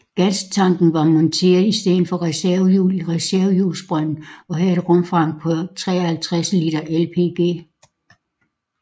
Gastanken var monteret i stedet for reservehjulet i reservehjulsbrønden og havde et rumfang på 53 liter LPG